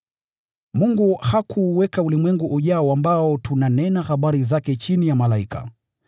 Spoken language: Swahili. Mungu hakuuweka ulimwengu ujao ambao tunanena habari zake chini ya malaika.